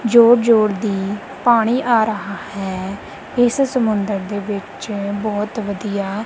ਜੋਰ ਜੋਰ ਦੀ ਪਾਣੀ ਆ ਰਹਾ ਹੈ ਇਸ ਸਮੁੰਦਰ ਦੇ ਵਿੱਚੋਂ ਬਹੁਤ ਵਧੀਆ।